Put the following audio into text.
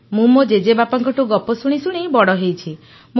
ମୁଁ ମୋ ଜେଜେବାପାଙ୍କଠୁ ଗପ ଶୁଣି ଶୁଣି ବଡ଼ ହେଇଛି